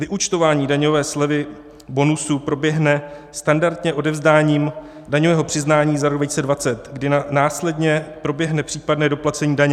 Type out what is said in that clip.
Vyúčtování daňové slevy, bonusů, proběhne standardně odevzdáním daňového přiznání za rok 2020, kdy následně proběhne případné doplacení daně.